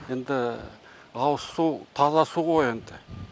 енді ауызсу таза су ғой енді